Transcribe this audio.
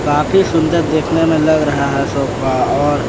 काफी सुंदर देखने में लग रहा है सोफा और।